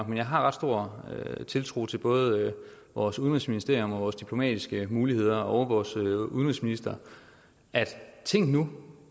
men jeg har ret stor tiltro til både vores udenrigsministerium og vores diplomatiske muligheder og vores udenrigsminister tænk nu